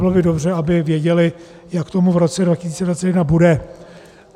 Bylo by dobře, aby věděli, jak tomu v roce 2021 bude.